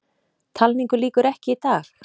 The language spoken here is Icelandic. Talningu lýkur ekki í dag